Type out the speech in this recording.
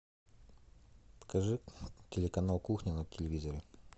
покажи телеканал кухня на телевизоре